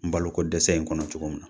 N balo ko dɛsɛ in kɔnɔ cogo min na